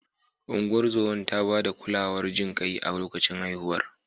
Ungozomar ta ba da kulawar jin kai a lokacin haihuwar.